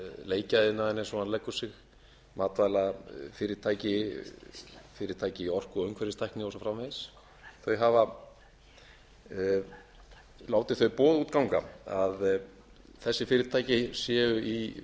marelleikjaiðnaðinn eins og hann leggur sig matvælafyrirtæki fyrirtæki í orku og umhverfistækni og svo framvegis þau hafa látið þau boð út ganga að þessi fyrirtæki séu